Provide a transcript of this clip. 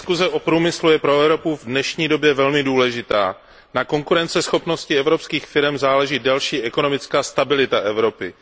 Paní předsedající, diskuze o průmyslu je pro Evropu v dnešní době velmi důležitá. Na konkurenceschopnosti evropských firem záleží další ekonomická stabilita Evropy.